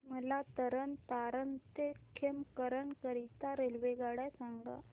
मला तरण तारण ते खेमकरन करीता रेल्वेगाड्या सांगा